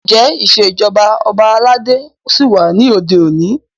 Ǹjẹ́ ìṣèjọba ọba aládé ṣí wà ní òde òní?